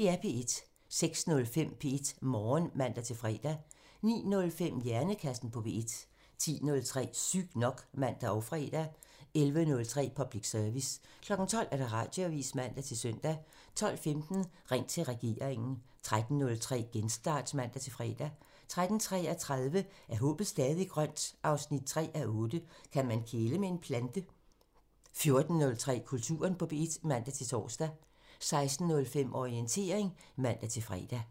06:05: P1 Morgen (man-fre) 09:05: Hjernekassen på P1 (man) 10:03: Sygt nok (man og fre) 11:03: Public Service (man) 12:00: Radioavisen (man-søn) 12:15: Ring til regeringen (man) 13:03: Genstart (man-fre) 13:33: Er håbet stadig grønt? 3:8 – Kan man kæle med en plante? 14:03: Kulturen på P1 (man-tor) 16:05: Orientering (man-fre)